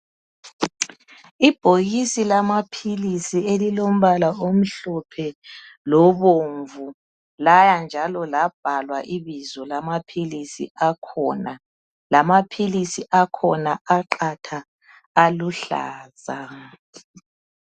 Ibhokisi lamaphilisi elilombala omhlophe lobomvu. Laya njalo labhalwa ibizo lamaphilisi akhona. Lamaphilisi akhona aqatha, aluhlaza.